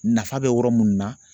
Nafa bɛ yɔrɔ minnu na